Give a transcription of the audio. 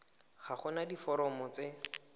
ga go na diforomo tse